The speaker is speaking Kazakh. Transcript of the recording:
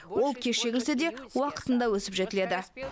ол кеш егілсе де уақытында өсіп жетіледі